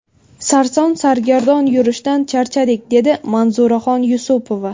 Sarson-sargardon yurishdan charchadik, dedi Manzuraxon Yusupova.